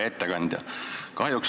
Hea ettekandja!